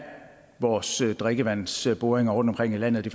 vores drikkevandsboringer rundtomkring i landet